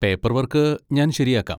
Paperwork ഞാൻ ശരിയാക്കാം.